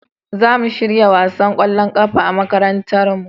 za a shirya wasan kwallon kafa a makarantar mi